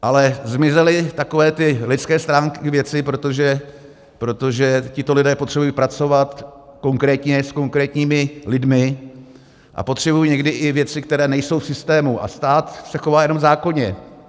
Ale zmizely takové ty lidské stránky věci, protože tito lidé potřebují pracovat konkrétně s konkrétními lidmi, a potřebují někdy i věci, které nejsou v systému, a stát se chová jenom zákonně.